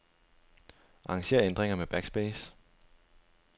Arranger ændringer med backspace.